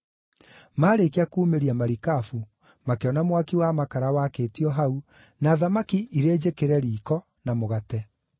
Maarĩkia kuumĩria marikabu, makĩona mwaki wa makara wakĩtio hau, na thamaki irĩ njĩkĩre riiko, na mũgate.